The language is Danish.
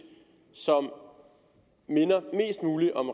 som minder mest mulig om